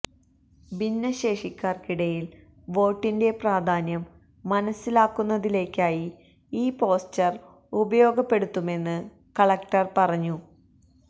ഭിന്നശേഷിക്കാര്ക്കിടയില് വോട്ടിന്റെ പ്രധാന്യം മനസിലാക്കുന്നതിലേക്കായി ഈ പോസ്റ്റര് ഉപയോഗപ്പെടുത്തുമെന്ന് കളക്ടര് പറഞ്ഞു